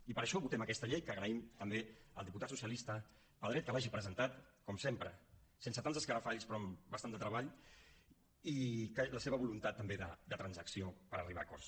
i per això votem aquesta llei que agraïm també al diputat socialista pedret que l’hagi presentat com sempre sense tants escarafalls però amb bastant de treball i la seva voluntat també de transacció per arribar a acords